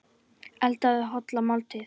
Eldaðu holla máltíð.